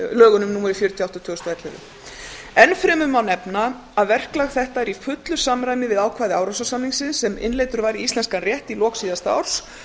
átta tvö þúsund og ellefu enn fremur má nefna að verklag þetta er í fullu samræmi við ákvæði árósasamningsins sem innleiddur var í íslenskan rétt í lok síðasta árs